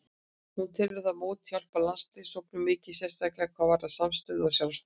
Hún telur þetta mót hjálpa landsliðshópnum mikið, sérstaklega hvað varðar samstöðu og sjálfstraust.